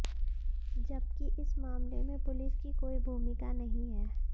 जबकि इस मामले में पुलिस की कोई भूमिका नहीं है